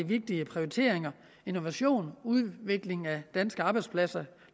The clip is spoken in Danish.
vigtige prioriteringer innovation udvikling af danske arbejdspladser